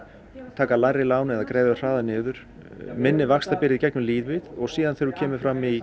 taka lægri lán eða greiða þau hraðar niður minni vaxtabirgði í gegnum lífið og síðan þegar þú kemur fram í